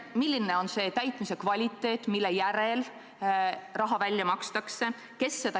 Milline on see täitmise kvaliteet, mille järel raha välja makstakse?